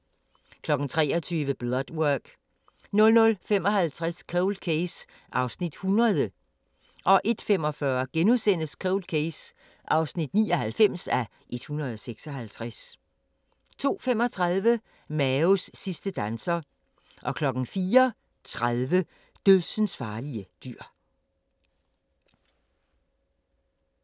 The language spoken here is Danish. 23:00: Blood Work 00:55: Cold Case (100:156) 01:45: Cold Case (99:156)* 02:35: Maos sidste danser 04:30: Dødsensfarlige dyr